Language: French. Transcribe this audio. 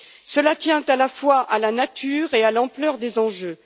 Cela tient à la fois à la nature et à l'ampleur des enjeux.